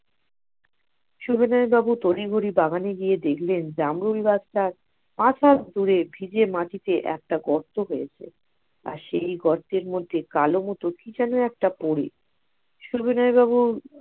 সুবিনয় বাবু তড়িঘড়ি বাগানে গিয়ে দেখলেন জামরুল গাছটার আট হাত দূরে ভিজে মাটিতে একটা গর্ত হয়েছে। আর সেই গর্তে কালো মত কি যেন একটা পরে সুবিনয় বাবু